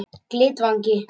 Glitvangi